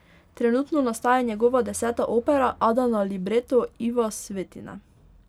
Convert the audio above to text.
Trenutno nastaja njegova deseta opera, Ada na libreto Iva Svetine.